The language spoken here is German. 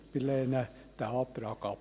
Wir lehnen den Antrag ab.